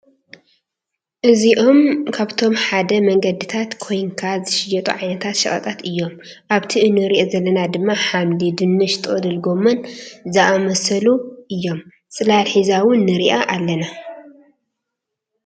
እዝይኦም ካብቶም ኣብ መንገዲታት ኮይኒካ ዝሸየጡ ዓይነታት ሸቀጣት እዮም። ኣበቲ እንርአዮ ዘለና ድማ ሓምሊ ፣ዱንሽ፣ ጥቅልል ጎሞን ዝኣመሳሰሉ እዮም። ፅላል ሒዛ እውን ንርእያ ኣለና።